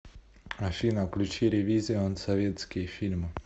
афина включи рэвизион советские фильмы